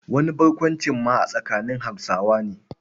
Wani barkwancin ma a tsakanin Hausawa ne.